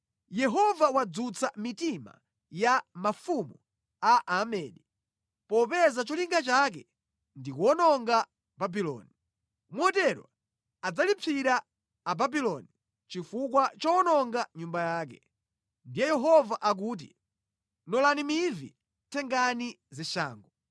“Yehova wadzutsa mitima ya mafumu a Amedi, popeza cholinga chake ndi kuwononga Babuloni. Motero adzalipsira Ababuloni chifukwa chowononga Nyumba yake. Ndiye Yehova akuti, ‘Nolani mivi, tengani zishango.’